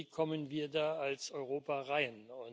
Wie kommen wir da als Europa hin?